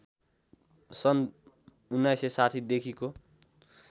सन् १९६० देखिको